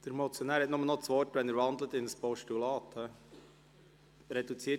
Der Motionär erhält nur noch das Wort, wenn er in ein Postulat wandelt.